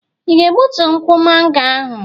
Ị ga-egbutu ukwu mango ahụ?